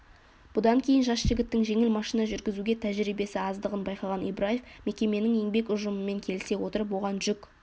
бұдан кейін жас жігіттің жеңіл машина жүргізуге тәжірибесі аздығын байқаған ибраев мекеменің еңбек ұжымымен келісе отырып оған жүк